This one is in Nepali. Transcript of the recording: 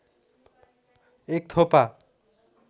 एक थोपा